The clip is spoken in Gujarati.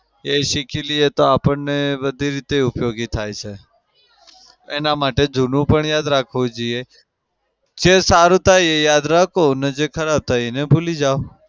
એ શીખી લઇએ તો આપણને બધી રીતે ઉપયોગી થાય છે. એના માટે જુનું પણ યાદ રાખવું જોઈએ. જે સારું થાય એ યાદ રાખો અને જે ખરાબ થાય એને ભૂલી જાઓ.